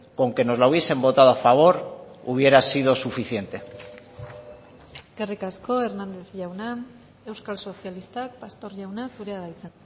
con que nos la hubiesen votado a favor hubiera sido suficiente eskerrik asko hernández jauna euskal sozialistak pastor jauna zurea da hitza